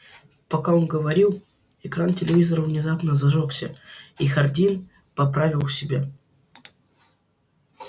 пока он говорил экран телевизора внезапно зажёгся и хардин поправил себя